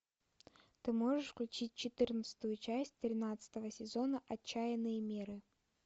ты можешь включить четырнадцатую часть тринадцатого сезона отчаянные меры